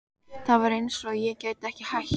Það var eins og ég gæti ekki hætt.